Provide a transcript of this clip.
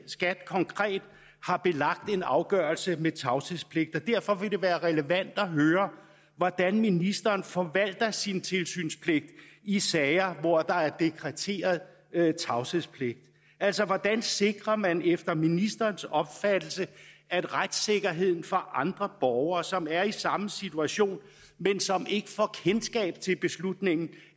skat konkret har belagt en afgørelse med tavshedspligt derfor vil det være relevant at høre hvordan ministeren forvalter sin tilsynspligt i sager hvor der er dekreteret tavshedspligt altså hvordan sikrer man efter ministerens opfattelse at retssikkerheden for andre borgere som er i samme situation men som ikke får kendskab til beslutningen